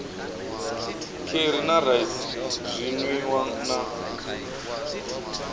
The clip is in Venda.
kheri na raisi zwinwiwa na